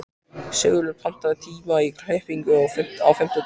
Sigurlogi, pantaðu tíma í klippingu á fimmtudaginn.